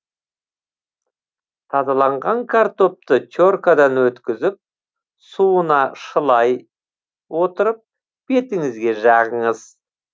тазаланған картопты те ркадан өткізіп суына шылай отырып бетіңізге жағыңыз